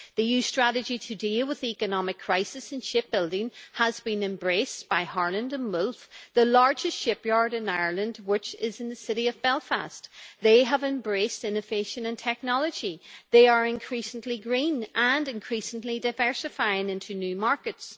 The EU strategy to deal with the economic crisis in shipbuilding has been embraced by Harland and Wolff, the largest shipyard in Ireland, which is in the city of Belfast. They have embraced innovation and technology, they are increasingly green and increasingly diversifying into new markets.